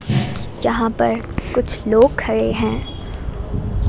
जहां पर कुछ लोग खड़े हैं।